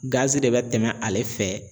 Gazi de bɛ tɛmɛ ale fɛ.